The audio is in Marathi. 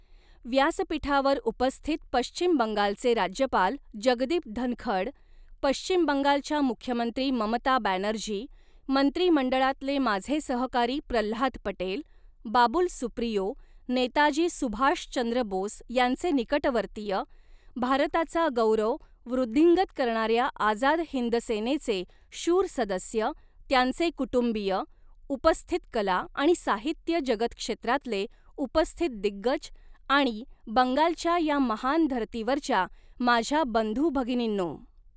व्यासपीठावर उपस्थित पश्चिम बंगालचे राज्यपाल जगदीप धनखड़, पश्चिम बंगालच्या मुख्यमंत्री ममता बॅनर्जी, मंत्रीमंडळातले माझे सहकारी प्रल्हाद पटेल, बाबुल सुप्रियो, नेताजी सुभाष चंद्र बोस यांचे निकटवर्तीय, भारताचा गौरव वृद्धिंगत करणाऱ्या आझाद हिंद सेनेचे शूर सदस्य, त्यांचे कुटुंबीय, उपस्थित कला आणि साहित्य जगत क्षेत्रातले उपस्थित दिग्गज आणि बंगालच्या या महान धरतीवरच्या माझ्या बंधू भगिनीनो,